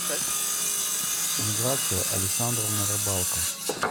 миграция александровна рыбалко